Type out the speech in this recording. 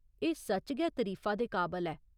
एह् सच्च गै तरीफा दे काबल ऐ।